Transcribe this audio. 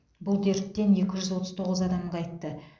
бұл дерттен екі жүз отыз тоғыз адам қайтты